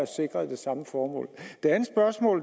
sikre det samme formål